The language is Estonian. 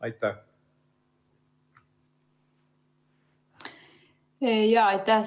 Aitäh!